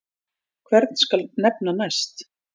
Hvern skal nefna næst?